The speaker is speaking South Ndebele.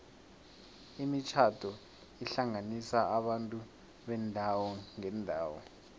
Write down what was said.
imitjhado ihlanganisa abantu beendawo ngeendawo